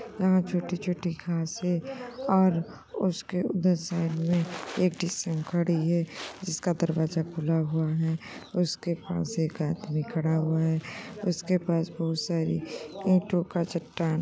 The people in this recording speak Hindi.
यहाँ छोटी-छोटी घांसे और उसके उधर साइड में एक डीसीएम खड़ी है जिसका दरवाजा खुला हुआ है। उसके पास एक आदमी खड़ा हुआ है। उसके पास बहोत सारी ईंटो का चट्टान --